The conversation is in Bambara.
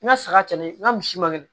N ka saga cɛ n ka misi man gɛlɛn